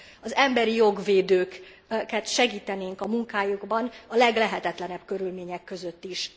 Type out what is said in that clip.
Az emberijogvédőket segítenénk a munkájukban a leglehetetlenebb körülmények között is.